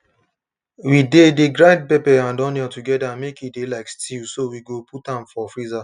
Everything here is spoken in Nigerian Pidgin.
we de de grind pepper and onion together make e de like stew so we go put am for freezer